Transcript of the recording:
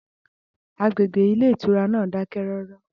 Agbègbè ilé ìtura náà dákẹ́rọ́rọ́